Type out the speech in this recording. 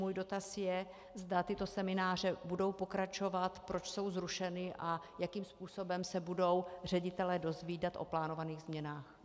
Můj dotaz je, zda tyto semináře budou pokračovat, proč jsou zrušeny a jakým způsobem se budou ředitelé dozvídat o plánovaných změnách.